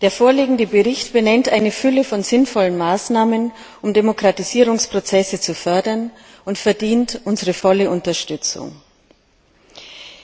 Der vorliegende Bericht benennt eine Fülle von sinnvollen Maßnahmen, um Demokratisierungsprozesse zu fördern, und verdient unsere volle Unterstützung.